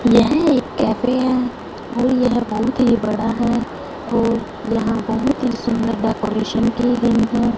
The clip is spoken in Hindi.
यह एक कैफे है और यह बहोत ही बड़ा है और यहां बहोत सुंदर डेकोरेशन की गई है।